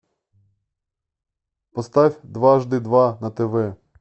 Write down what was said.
поставь дважды два на тв